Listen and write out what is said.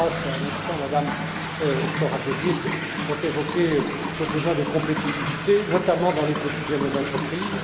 Karas, à l'instant, Mme Corazza Bildt, ont évoqué ce besoin de compétitivité, notamment dans les petites et moyennes entreprises.